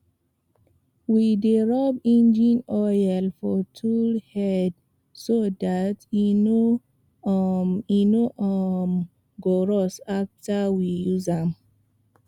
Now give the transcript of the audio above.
we dey rub engine oil for tool head so dat e no um e no um go rust after we use am